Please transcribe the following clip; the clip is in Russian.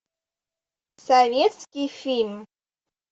советский фильм